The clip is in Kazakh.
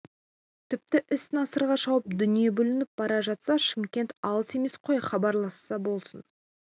тіпті іс насырға шауып дүние бүлініп бара жатса шымкент алыс емес қой хабарлассын болыс